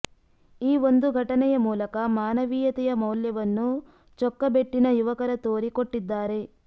ಈ ಒಂದು ಘಟನೆಯ ಮೂಲಕ ಮಾನವೀಯತೆಯ ಮೌಲ್ಯವನ್ನು ಚೊಕ್ಕಬೆಟ್ಟಿನ ಯುವಕರ ತೋರಿ ಕೊಟ್ಟಿದ್ದಾರೆ